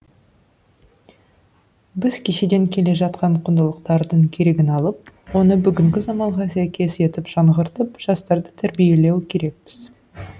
біз кешеден келе жатқан құндылықтардың керегін алып оны бүгінгі заманға сәйкес етіп жаңғыртып жастарды тәрбиелеу керекпіз